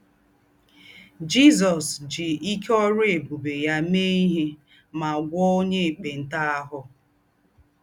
Jízọ́s jí íké órú ébùbè yá méè íhé mà gwọ́ò ònyè ékpèntà àhù.